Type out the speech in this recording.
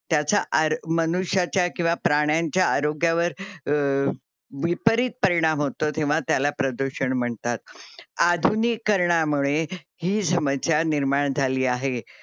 त्याच्या आर मनुष्याच्या किंवा प्राणांच्या आरोग्यावर अं विपरीत परिणाम होतो तेंव्हा त्याला प्रदूषण म्हणतात. अधुनिकारणामुळे हि समस्या निर्माण झाली आहे.